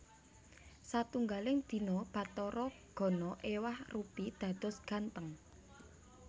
Satunggaling dina Bathara Gana éwah rupi dados gantheng